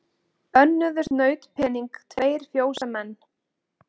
Önnuðust nautpening tveir fjósamenn.